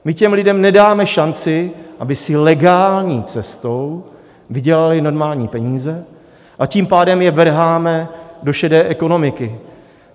My těm lidem nedáme šanci, aby si legální cestou vydělali normální peníze, a tím pádem je vrháme do šedé ekonomiky.